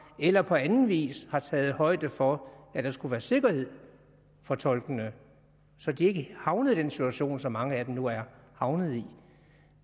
eller på anden vis har taget højde for at der skulle være sikkerhed for tolkene så de ikke havnede i den situation som mange af dem nu er havnet i